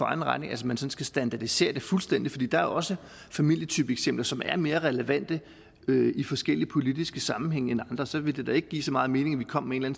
egen regning at man skal standardisere det fuldstændigt der er også familietypeeksempler som er mere relevante end i forskellige politiske sammenhænge og så ville det da ikke give så meget mening at vi kom med en